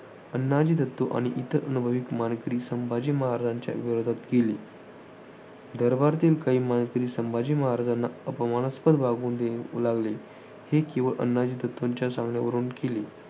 अण्णाजी दत्तो आणि इतर अनुभवी मानकरी संभाजी महाराजांच्या विरोधात गेले. दरबारातील काही मानकरी संभाजी महाराजांना अपमानास्पद वागणूक देऊ लागले. हे केवळ अण्णाजी दत्तोंच्या सांगण्यावरून केले.